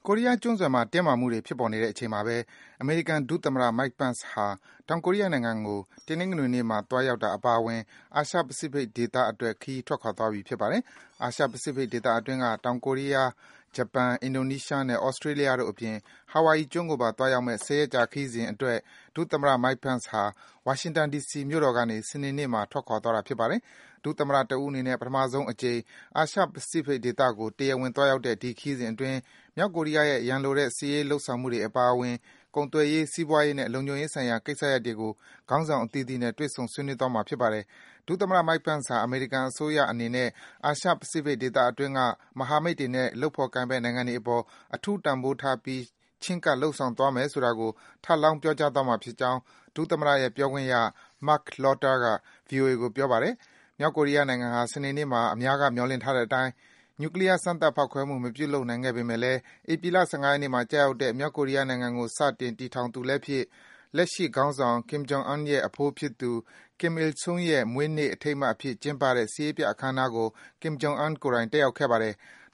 ိုရီးယား ကျွန်းဆွယ်မှာ တင်းမာမှုတွေ ဖြစ်ပေါ်နေတဲ့အချိန်မှာပဲ အမေရိကန် ဒုသမ္မတ Mike Pence ဟာ တောင်ကိုရီးယားနိုင်ငံကို တနင်္ဂနွေနေ့မှာ သွားရောက်တာ အပါအဝင် အာရှ-ပစိဖိတ်ဒေသကို ခရီးထွက်ခွာသွားပြီ ဖြစ်ပါတယ်။ အာရှ-ပစိဖိတ်ဒေသအတွင်းက တောင်ကိုရီးယား၊ ဂျပန်၊ အင်ဒိုနီးရှားနဲ့Australia တို့အပြင် Hawaii ကျွန်းကိုပါ သွားရောက်မယ့် ၁၀ ရက်ကြာ ခရီးစဉ်အတွက် ဒုသမ္မတ Pence ဟာ ဝါရှင်တန် ဒီစီမြို့ကနေ စနေနေ့မှာ စတင်ထွက်ခွာသွားတာ ဖြစ်ပါတယ်။ ဒုသမ္မတ တဦးအနေနဲ့ ပထမဆုံးအကြိမ် အာရှ-ပစိဖိတ်ဒေသကို တရားဝင် သွားရောက်တဲ့ ဒီခရီးစဉ်အတွင်း မြောက်ကိုရီးယားရဲ့ ရန်လိုတဲ့ စစ်ရေးလုပ်ဆောင်မှုတွေ အပါအဝင်၊ ကုန်သွယ်ရေး၊ စီးပွားရေးနဲ့ လုံခြုံရေးဆိုင်ရာ ကိစ္စရပ်တွေကို ခေါင်းဆောင် အသီးသီးနဲ့ တွေ့ဆုံ ဆွေးနွေးသွားမှာ ဖြစ်ပါတယ်။ ဒုသမ္မတ Pence ဟာ အမေရိကန်အစိုးရ အနေနဲ့ အာရှ-ပစိဖိတ်ဒေသအတွင်းက မဟာမိတ်တွေနဲ့ လုပ်ဖော်ကိုင်ဖက် နိုင်ငံတွေအပေါ် အထူး တန်ဖိုးထားပြီး ချဉ်းကပ် လုပ်ဆောင်သွားမယ်ဆိုတာကို ထပ်လောင်း ပြောကြားသွားမှာ ဖြစ်ကြောင်း ဒုသမ္မတရဲ့ ပြောခွင့်ရ Marc Lotter က ဗွီအိုအေကို ပြောပါတယ်။ မြောက်ကိုရီးယားနိုင်ငံဟာ စနေနေ့မှာ အများက မျှော်လင့်ထားတဲ့အတိုင်း နျူကလီးယား စမ်းသပ် ဖောက်ခွဲမှု မပြုလုပ်ခဲ့ပေမယ့်လည်း ဧပြီလ ၁၅ ရက်နေ့မှာ ကျရောက်တဲ့ မြောက်ကိုရီးယားနိုင်ငံကို စတင်တည်ထောင်သူလည်းဖြစ်၊ လက်ရှိခေါင်းဆောင် Kim Jong Un ရဲ့ အဖိုးဖြစ်သူ Kim Il Sung ရဲ့ မွေးနေ့ အထိမ်းအမှတ်အဖြစ် ကျင်းပတဲ့ စစ်ရေးပြ အခမ်းအနားကို Kim Jong Un ကိုယ်တိုင် တက်ရောက်ခဲ့ပါတယ်။